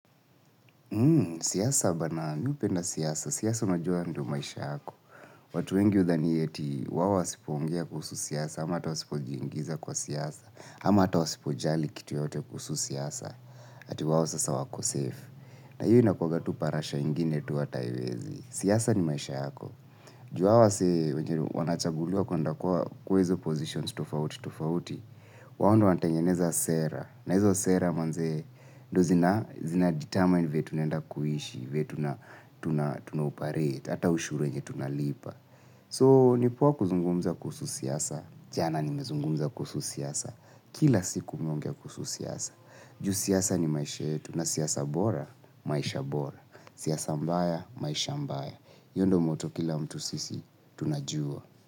Hmm, siasa bana mimi, upenda siasa, siasa najua ndio maisha yako, watu wengi udhani eti wao wasipo ongea kuhusu siasa, ama atawasipo jingiza kwa siasa, ama atawasipo jali kitu yote kuhusu siasa, ati wao sasa wako safe. Na hiyo ina kwa gatu parasha ingine tuwa taiwezi. Siasa ni maisha yako. Juawa se wanachaguliwa kwenda kua kwezo positions tofauti tofauti. Wao ndio wanatangeneza sera. Na hizo sera mazee. Ndo zina determine vile tunenda kuishi. Vile tunaoparete. Ata ushuru enye tunalipa. So nipoa kuzungumza kusu siasa. Jana nimezungumza kuhusu siasa. Kila siku mimi ongea kuhusu siasa. Ju siasa ni maisha yetu. Na siasa bora. Maisha bora. Sia maisha mbaya iyondio moto kila mtu sisi tunajua.